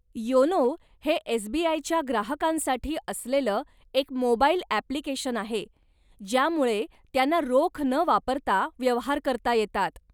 YONO हे एसबीआयच्या ग्राहकांसाठी असलेलं एक मोबाइल ॲप्लिकेशन आहे ज्यामुळे त्यांना रोख न वापरता व्यवहार करता येतात.